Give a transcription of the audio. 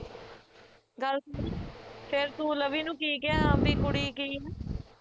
ਗੱਲ ਸੁਨ ਫੇਰ ਤੂੰ ਲਵੀ ਨੂੰ ਕਿ ਕਿਹਾ ਆਪਦੀ ਕੁੜੀ ਕਿ